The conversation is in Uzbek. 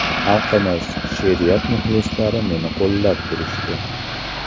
Xalqimiz, she’riyat muxlislari meni qo‘llab turishdi.